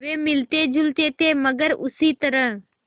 वे मिलतेजुलते थे मगर उसी तरह